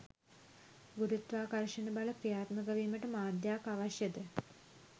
ගුරුත්වාකර්ෂණ බල ක්‍රියාත්මක වීමට මාධ්‍යයක් අවශ්‍යද?